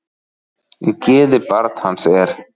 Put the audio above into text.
Í geði barn hans er.